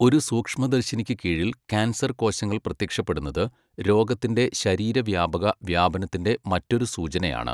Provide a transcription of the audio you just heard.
ഒരു സൂക്ഷ്മദർശിനിക്ക് കീഴിൽ കാൻസർ കോശങ്ങൾ പ്രത്യക്ഷപ്പെടുന്നത് രോഗത്തിന്റെ ശരീരവ്യാപക വ്യാപനത്തിന്റെ മറ്റൊരു സൂചനയാണ്.